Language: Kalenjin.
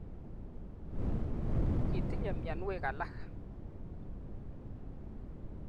Kitinyei mianwek alak